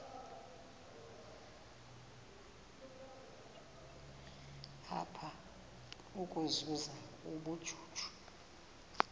apha ukuzuza ubujuju